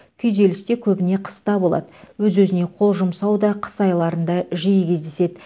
күйзеліс те көбіне қыста болады өз өзіне қол жұмсау да қыс айларында жиі кездеседі